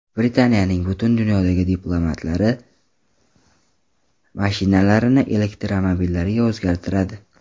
Britaniyaning butun dunyodagi diplomatlari mashinalarini elektromobillarga o‘zgartiradi.